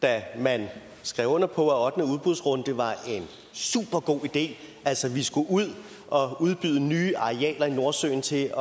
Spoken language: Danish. da man skrev under på at den ottende udbudsrunde var en supergod idé altså vi skulle ud og udbyde nye arealer i nordsøen til